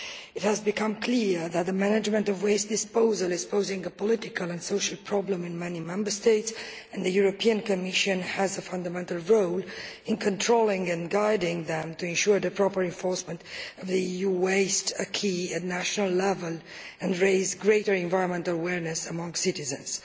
It has become clear that the management of waste disposal is posing a political and social problem in many Member States and the European Commission has a fundamental role in controlling and guiding them to ensure the proper enforcement of the EU waste acquis at national level and raise greater environmental awareness among citizens.